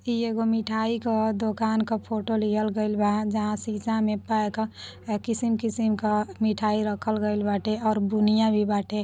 इ एगो मिठाई क दुकान क फोटो लिहल गइल बा। जहाँ शीशा में पैक किसिम-किसिम क मिठाई रखल गइल बाटे और बुनिआ भी बाटे।